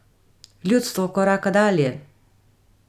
Ljudstvo koraka dalje.